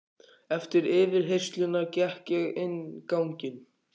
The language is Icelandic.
Eftir yfirheyrsluna gekk ég inn ganginn.